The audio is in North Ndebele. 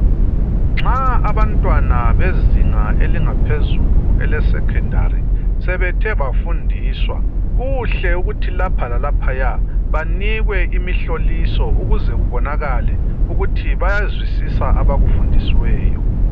Nxa abantwana bezinga elingaphezulu leSecondary sebethe bafundiswa, kuhle ukuthi lapha lalaphaya banikwe imihloliso ukuze kubonakale ukuthi bayazwisisa abakufundisiweyo.